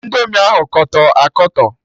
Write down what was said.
Indomi ahụ Kọtọ akọtọ